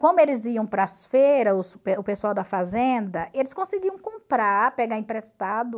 Como eles iam para as feiras, os pe o pessoal da fazenda, eles conseguiam comprar, pegar emprestado.